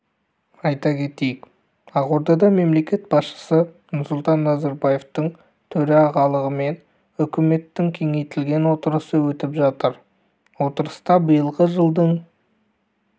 айта кетейік ақордада мемлекет басшысы нұрсұлтан назарбаевтың төрағалығымен үкіметтің кеңейтілген отырысы өтіп жатыр отырыста биылғы жылдың